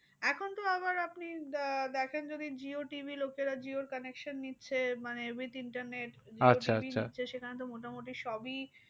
এখন তো আবার আপনি দে দেখেন যদি jio TV লোকেরা jioconnection নিচ্ছে। মানে with internet সেখানেতো মোটামুটি সবই